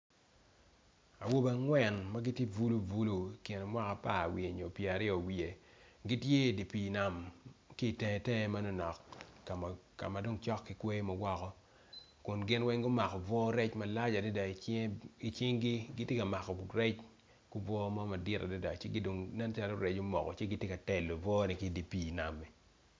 Awobe angwen magitye bulubulu ikin mwaka apara i wiye nyo pyera aryo gitye i di pi nam kitenge tenge manonok kamadong cok kikwoyo mawoko kun ginweng gumako bunga rec malac adada icingi gitye ka mako rec ibunga mo madwong adada ci kidong nen calo rec omoko teng ci gitye ka telo bunga rec i dye pi nam.